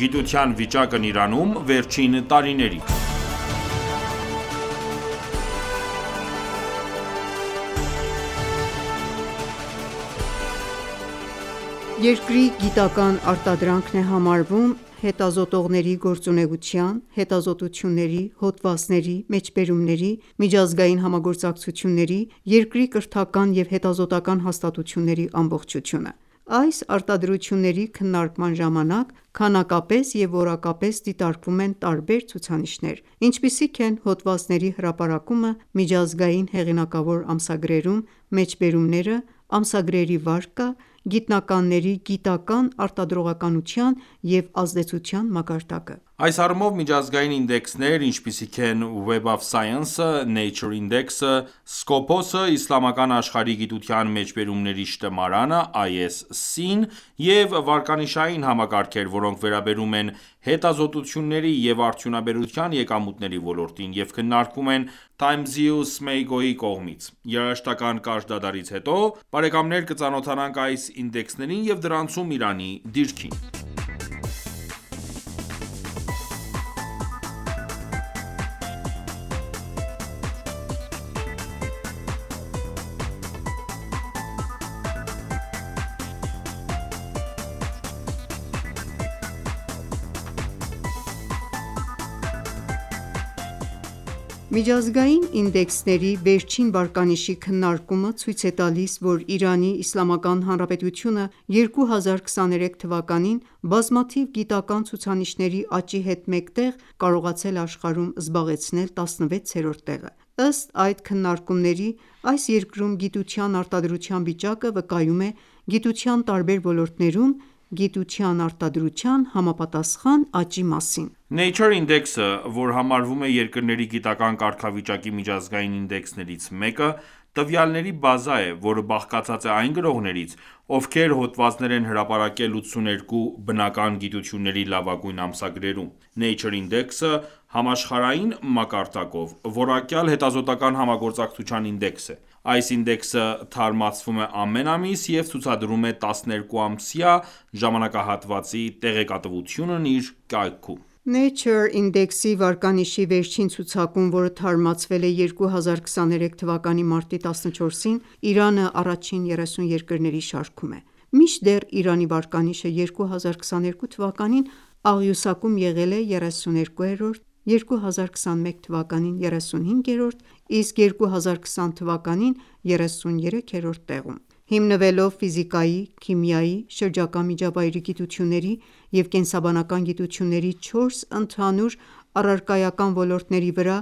Գիտության վիճակն Իրանում վերջին տարիներին Յուրաքանչյուր երկրի գիտական արտադրանքն է համարվում հետազոտողների գործունեության, հետազոտությունների, հոդվածների, մեջբերումների, միջազգային համագործակցությունների, երկրի կրթական և հետազոտական հաստատությունների ամբողջությունը: Այս արտադրությունների քննարկման ժամանակ քանակապես և որակապես դիտարկվում են տարբեր ցուցանիշներ, ինչպիսիք են հոդվածների հրապարակումը միջազգային հեղինակավոր ամսագրերում, մեջբերումները, ամսագրերի վարկը, գիտնականների գիտական արտադրողականության և ազդեցության մակարդակը: Այս առումով միջազգային ինդեքսներ, ինչպիսիք են «Web of Science»-ը, «Nature Index»-ը, «Scopus»-ը, Իսլամական աշխարհի գիտության մեջբերումների շտեմարանը (ISC) և վարկանիշային համակարգեր, որոնք վերաբերում են հետազոտությունների և արդյունաբերության եկամուտների ոլորտին, և քննարկվում են Times-ի ու Scimago(Սըմեյգո)-ի կողմից: Երաժշտական կարճ դադարից հետո կծանոթանանք այս ինդեքսներին և դրանցում Իրանի դիրքին։ Միջազգային ինդեքսների վերջին վարկանիշի քննարկումը ցույց է տալիս, որ Իրանի Իսլամական Հանրապետությունը 2023 թվականին բազմաթիվ գիտական ցուցանիշների աճի հետ մեկտեղ կարողացել է աշխարհում զբաղեցնել 16-րդ տեղը: Ըստ այդ քննարկումների՝ այս երկրում գիտության արտադրության վիճակը վկայում է գիտության տարբեր ոլորտներում գիտության արտադրության համապատասխան աճի մասին։ Nature Index-ը, որ համարվում է երկրների գիտական կարգավիճակի միջազգային ինդեքսներից մեկը, տվյալների բազա է, որը բաղկացած է այն գրողներից, ովքեր հոդվածներ են հրապարակել 82 բնական գիտությունների լավագույն ամսագրերում: Nature Index-ը համաշխարհային մակարդակով որակյալ հետազոտական համագործակցության ինդեքս է: Այս ինդեքսը թարմացվում է ամեն ամիս և ցուցադրում է 12-ամսյա ժամանակահատվածի տեղեկատվությունն իր կայքում։ Nature Index-ի վարկանիշի վերջին ցուցակում, որը թարմացվել է 2023 թվականի մարտի 14-ին, Իրանը առաջին 30 երկրների շարքում է։ Մինչդեռ Իրանի վարկանիշը 2022 թվականին աղյուսակում եղել է 32-րդ, 2021 թվականին՝ 35-րդ, իսկ 2020 թվականին՝ 33-րդ տեղում։ Հիմնվելով ֆիզիկայի, քիմիայի ,շրջակա միջավայրի գիտությունների և կենսաբանական գիտությունների չորս ընդհանուր առարկայական ոլորտների վրա՝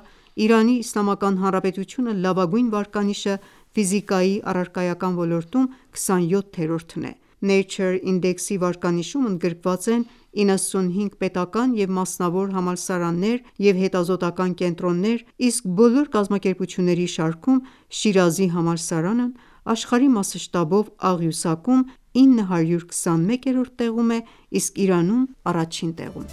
Իրանի Իսլամական Հանրապետության լավագույն վարկանիշը ֆիզիկայի առարկայական ոլորտում 27-րդն է: Nature Index-ի վարկանիշում ընդգրկված են 95 պետական և մասնավոր համալսարաններ և հետազոտական կենտրոններ, իսկ բոլոր կազմակերպությունների շարքում Շիրազի համալսարանն աշխարհի մասշտաբով աղյուսակում 921-րդ տեղում է, իսկ Իրանում առաջին տեղում։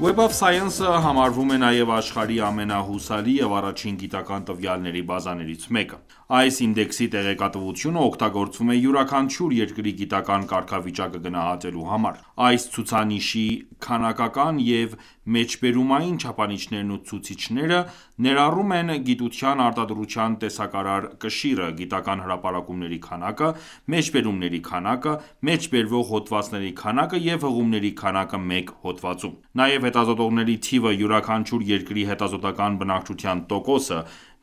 Web of Science-ը համարվում է նաև աշխարհի ամենահուսալի և առաջին գիտական տվյալների բազաներից մեկը: Այս ինդեքսի տեղեկատվությունը օգտագործվում է յուրաքանչյուր երկրի գիտական կարգավիճակը գնահատելու համար: Այս ցուցանիշի քանակական և մեջբերումային չափանիշներն ու ցուցիչները ներառում են գիտության արտադրության տեսակարար կշիռը, գիտական հրապարակումների քանակը, մեջբերումների քանակը, մեջբերվող հոդվածների քանակը և հղումների քանակը մեկ հոդվածում։ Նաև հետազոտողների թիվը, յուրաքանչյուր երկրի հետազոտական բնակչության տոկոսը,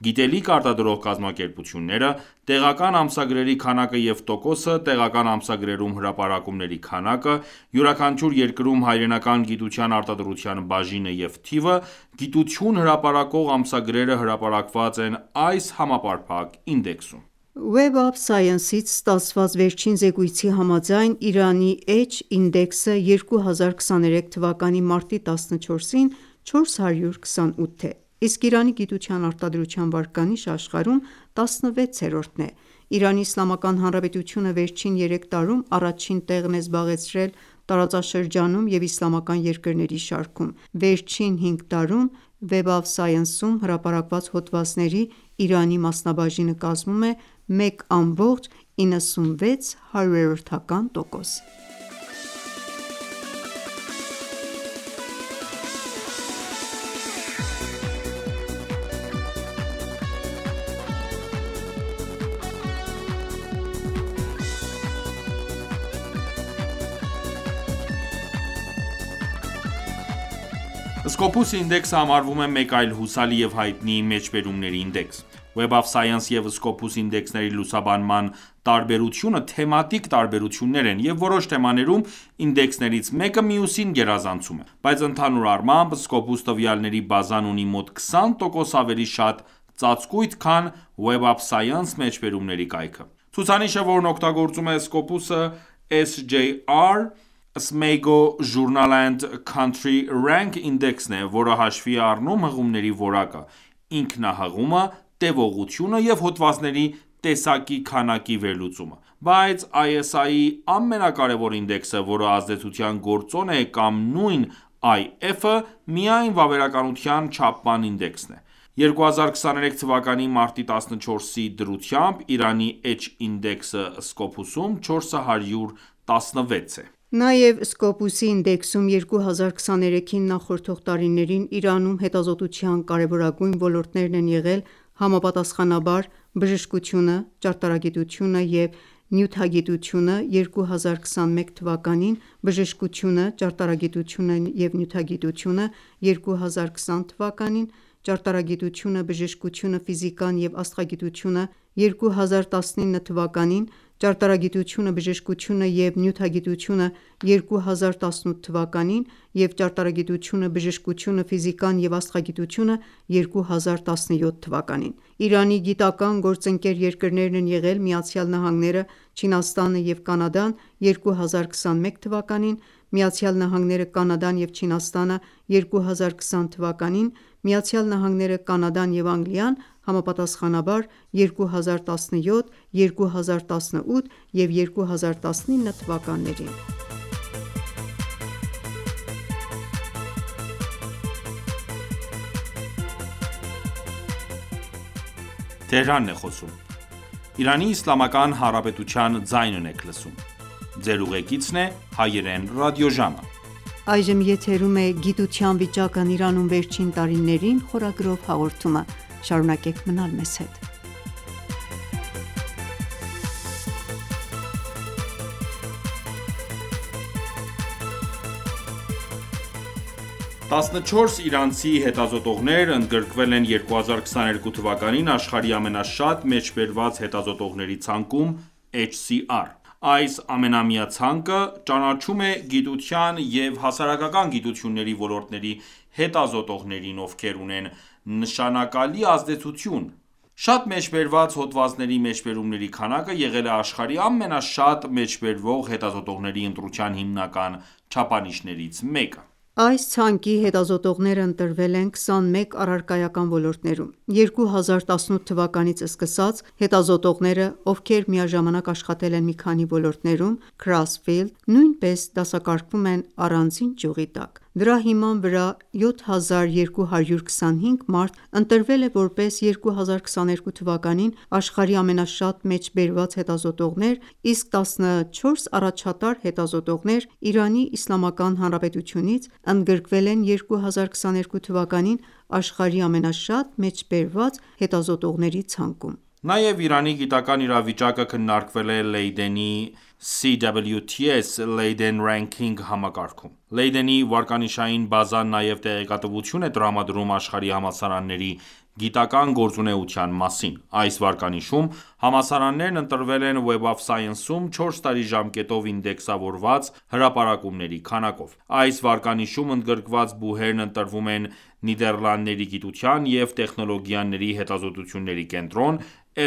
գիտելիք արտադրող կազմակերպությունները, տեղական ամսագրերի քանակը և տոկոսը, տեղական ամսագրերում հրապարակումների քանակը, յուրաքանչյուր երկրում հայրենական գիտության արտադրության բաժինը և թիվը, գիտություն հրապարակող ամսագրերը հրապարակված են այս համապարփակ ինդեքսում: Web of Science-ից ստացված վերջին զեկույցի համաձայն՝ Իրանի H-ինդեքսը 2023 թվականի մարտի 14-ին 428 է, իսկ Իրանի գիտության արտադրության վարկանիշը աշխարհում 16-րդն է։ Իրանի Իսլամական Հանրապետությունը վերջին երեք տարում առաջին տեղն է զբաղեցրել տարածաշրջանում և իսլամական երկրների շարքում։ Վերջին հինգ տարում Web of Science-ում հրապարակված հոդվածների Իրանի մասնաբաժինը կազմում է 1,96 տոկոս: Scopus ինդեքսը համարվում է մեկ այլ հուսալի և հայտնի մեջբերումների ինդեքս: Web of Science և Scopus ինդեքսների լուսաբանման տարբերությունը թեմատիկ տարբերություններն են, և որոշ թեմաներում ինդեքսներից մեկը մյուսին գերազանցում է, բայց ընդհանուր առմամբ, Scopus տվյալների բազան ունի մոտ 20 տոկոս ավելի շատ ծածկույթ, քան Web of Science մեջբերումների կայքը: Ցուցանիշը, որն օգտագործում է Scopus-ը, SJR (Scimago(Սըմեյգո) Journal & Country Rank) ինդեքսն է, որը հաշվի է առնում հղումների որակը, ինքնահղումը, տևողությունը, և հոդվածների տեսակի քանակի վերլուծումը։ Բայց ISI-ի ամենակարևոր ինդեքսը, որը ազդեցության գործոնն է կամ նույն IF-ը, միայն վավերականության չափման ինդեքս է: 2023 թվականի մարտի 14-ի դրությամբ՝ Իրանի H ինդեքսը Scopus-ում 416 է: Նաև, Scopus-ի ինդեքսում 2023-ին նախորդող տարիներին Իրանում հետազոտության կարևորագույն ոլորտներն են եղել՝ համապատասխանաբար բժշկությունը, ճարտարագիտությունը և նյութագիտությունը 2021 թվականին, բժշկությունը, ճարտարագիտությունը և նյութագիտությունը 2020 թվականին, ճարտարագիտությունը, բժշկությունը, ֆիզիկան և աստղագիտությունը՝ 2019 թվականին, ճարտարագիտությունը, բժշկությունը և նյութագիտությունը 2018 թվականին և ճարտարագիտությունը, բժշկությունը, ֆիզիկան և աստղագիտությունը՝ 2017 թվականին։ Իրանի գիտական գործընկեր երկրներն են եղել ԱՄՆ-ը, Չինաստանը և Կանադան 2021 թվականին, ԱՄՆ-ը, Կանադան և Չինաստանը 2020 թվականին, ԱՄՆ-ը, Կանադան և Անգլիան՝ համապատասխանաբար 2017, 2018 և 2019 թվականներին։ 14 իրանցի հետազոտողներ ընդգրկվել են 2022 թվականին աշխարհի ամենաշատ մեջբերված հետազոտողների ցանկում (HCR): Այս ամենամյա ցանկը ճանաչում է գիտության և հասարակական գիտությունների ոլորտների հետազոտողներին, ովքեր ունեն նշանակալի ազդեցություն: Շատ մեջբերված հոդվածների մեջբերումների քանակը եղել է աշխարհի ամենաշատ մեջբերվող հետազոտողների ընտրության հիմնական չափանիշներից մեկը: Այս ցանկի հետազոտողները ընտրվել են 21 առարկայական ոլորտներում: 2018 թվականից սկսած, հետազոտողները, ովքեր միաժամանակ աշխատել են մի քանի ոլորտներում (Cross-Field) նույնպես դասակարգվում են առանձին ճյուղի տակ: Դրա հիման վրա 7225 մարդ ընտրվել է որպես 2022 թվականին աշխարհի ամենաշատ մեջբերված հետազոտողներ, իսկ 14 առաջատար հետազոտողներ Իրանի Իսլամական Հանրապետությունից ընդգրկվել են 2022 թվականին աշխարհի ամենաշատ մեջբերված հետազոտողների ցանկում։ Նաև Իրանի գիտական իրավիճակը քննարկվել է Լեյդենի (CWTS Leiden Ranking) համակարգում: Լեյդենի վարկանշային բազան նաև տեղեկատվություն է տրամադրում աշխարհի համալսարանների գիտական գործունեության մասին: Այս վարկանիշում համալսարաններն ընտրվել են Web of Science-ում 4 տարի ժամկետով ինդեքսավորված հրապարակումների քանակով։ Այս վարկանիշում ընդգրկված բուհերն ընտրվում են Նիդեռլանդների գիտության և տեխնոլոգիաների հետազոտությունների կենտրոն՝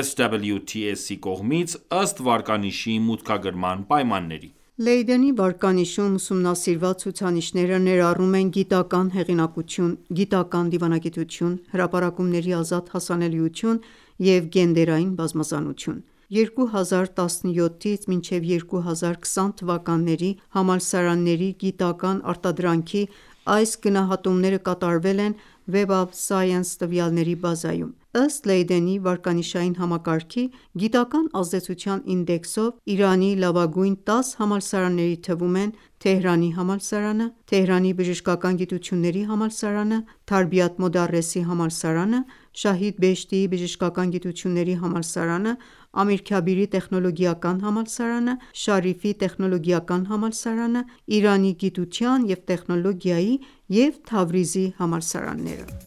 CWTS-ի կողմից՝ ըստ վարկանիշի մուտքագրման պայմանների։ Լեյդենի վարկանիշում ուսումնասիրված ցուցանիշները ներառում են գիտական հեղինակություն, գիտական դիվանագիտություն, հրապարակումների ազատ հասանելիություն և գենդերային բազմազանություն: 2017-ից մինչև 2020 թվականների համալսարանների գիտական արտադրանքի այս գնահատումները կատարվել են Web of Science տվյալների բազայում: Ըստ Լեյդենի վարկանիշային համակարգի՝ գիտական ազդեցության ինդեքսով Իրանի լավագույն 10 համալսարանների թվում են՝ Թեհրանի համալսարանը, Թեհրանի բժշկական գիտությունների համալսարանը, Թարբիաթ Մոդարեսի համալսարանը, Շահիդ Բեհեշթիի բժշկական գիտությունների համալսարանը, Ամիր Քաբիրի տեխնոլոգիական համալսարանը, Շարիֆի տեխնոլոգիական համալսարանը, Իրանի գիտության և տեխնոլոգիայի և Թավրիզի համալսարանները: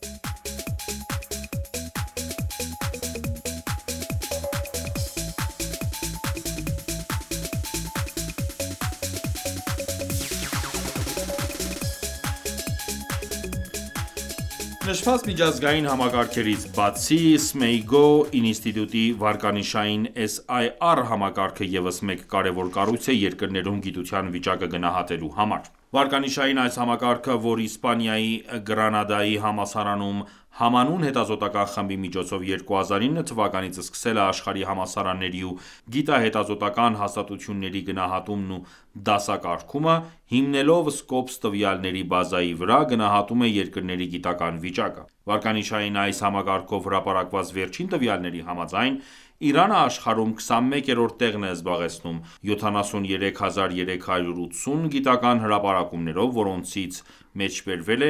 Նշված միջազգային համակարգերից բացի, Scimago(Սըմեյգո) ինստիտուտի վարկանիշային (SIR) համակարգը ևս մեկ կարևոր կառույց է երկրներում գիտության վիճակը գնահատելու համար: Վարկանիշային այս համակարգը, որ Իսպանիայի Գրանադայի համալսարանում համանուն հետազոտական խմբի միջոցով 2009 թվականից սկսել է աշխարհի համալսարանների ու գիտահետազոտական հաստատությունների գնահատումն ու դասակարգումը, հիմնվելով Scopus տվյալների բազայի վրա գնահատում է երկրների գիտական վիճակը։ Վարկանիշային այս համակարգով հրապարակված վերջին տվյալների համաձայն՝ Իրանը աշխարհում 21-րդ տեղն է զբաղեցնում 73,380 գիտական հրապարակումներով, որոնցից մեջբերվել է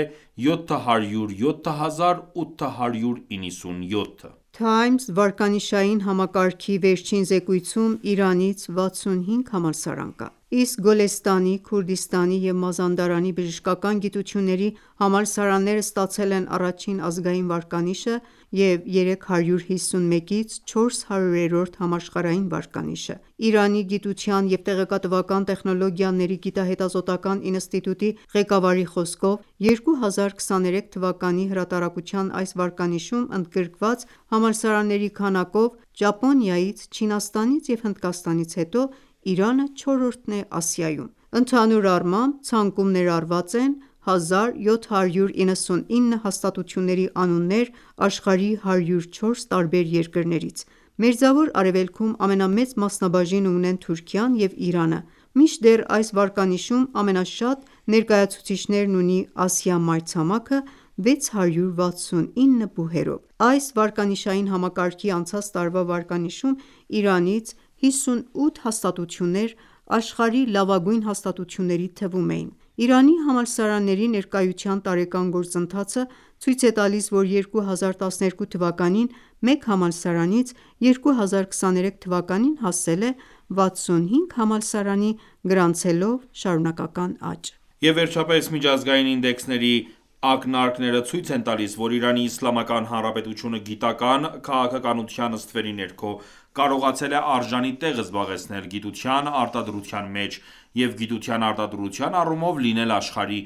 707,897-ը։ Times վարկանիշային համակարգի վերջին զեկույցում Իրանից 65 համալսարան կա, իսկ Գոլեստանի, Քուրդիստանի և Մազանդարանի բժշկական գիտությունների համալսարանները ստացել են առաջին ազգային վարկանիշը և 351-400-րդ համաշխարհային վարկանիշը։ Իրանի գիտության և տեղեկատվական տեխնոլոգիաների գիտահետազոտական ինստիտուտի ղեկավարի խոսքով՝ 2023 թվականի հրատարակության այս վարկանիշում ընդգրկված համալսարանների քանակով, Ճապոնիայից, Չինաստանից և Հնդկաստանից հետո Իրանը չորրորդն է Ասիայում։ Ընդհանուր առմամբ, ցանկում ներառված են 1799 հաստատությունների անուններ աշխարհի 104 տարբեր երկրներից։ Մերձավոր Արևելքում ամենամեծ մասնաբաժինը ունեն Թուրքիան և Իրանը։ Մինչդեռ այս վարկանիշում ամենաշատ ներկայացուցիչներն ունի Ասիա մայրցամաքը՝ 669 բուհերով։ Այս վարկանիշային համակարգի անցած տարվա վարկանիշում Իրանից 58 հաստատություններ աշխարհի լավագույն հաստատությունների թվում էին: Իրանի համալսարանների ներկայության տարեկան գործընթացը ցույց է տալիս, որ 2012 թվականին մեկ համալսարանից 2023 թվականին հասել է 65 համալսարանի, գրանցվելով շարունակական աճ: Եվ վերջապես, միջազգային ինդեքսների ակնարկները ցույց են տալիս, որ Իրանի Իսլամական Հանրապետությունը գիտական քաղաքականության ստվերի ներքո կարողացել է արժանի տեղ զբաղեցնել գիտության արտադրության մեջ և գիտության արտադրության առումով լինել աշխարհի